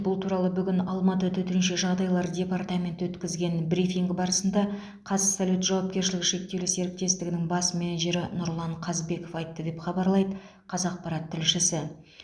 бұл туралы бүгін алматы төтенше жағдайлар департаменті өткізген брифинг барысында қазсалют жауапкершілігі шектеулі серіктестігінің бас менеджері нұрлан қазбеков айтты деп хабарлайды қазақпарат тілшісі